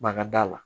Banga da la